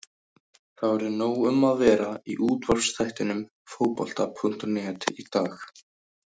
Það verður nóg um að vera í útvarpsþættinum Fótbolta.net í dag.